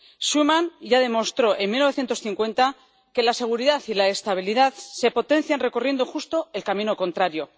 Schuman ya demostró, en 1950, que la seguridad y la estabilidad se potencian recorriendo justo el camino contrario.